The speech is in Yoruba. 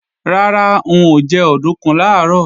Rárá, n ò jẹ òdùnkún làárọ̀